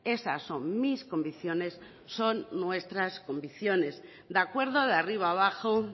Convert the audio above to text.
esas son mis convicciones son nuestras convicciones de acuerdo de arriba abajo